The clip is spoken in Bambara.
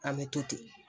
An bɛ to ten